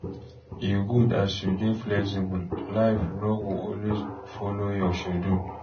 E good as you dey flexible, life no go always folo your schedule.